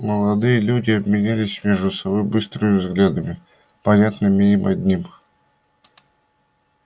молодые люди обменялись между собой быстрыми взглядами понятными им одним